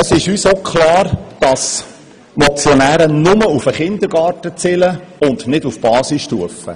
Es ist uns auch klar, dass die Motionäre nur auf den Kindergarten abzielen und nicht auf die Basisstufe.